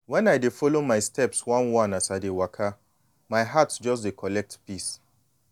wen i dey follow my steps one-one as i dey waka my heart just de collect peace.